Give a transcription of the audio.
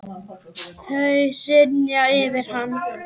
Þau hrynja yfir hann.